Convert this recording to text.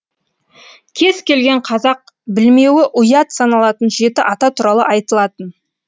кез келген қазақ білмеуі ұят саналатын жеті ата туралы айтылатын